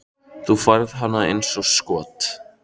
Þú færð hana eins og skot.